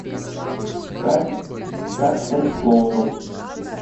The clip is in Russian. как стать клоуном